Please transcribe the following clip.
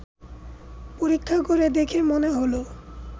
পরীক্ষা করে দেখে মনে হল